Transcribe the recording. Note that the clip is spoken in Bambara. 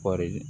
Kɔɔri